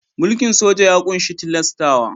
Mulkin soja ya ƙunshi tilastawa.